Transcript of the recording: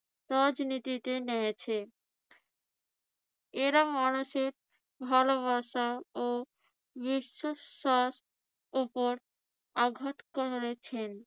রাজনীতিতে নেমেছে। এরা মানুষের ভালোবাসা ও বিশ্বাসের উপর আঘাত করেছেন।